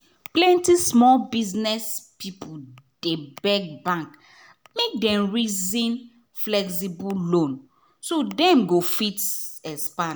plenty small biz people dey beg bank make dem reason flexible loan so dem go fit expand.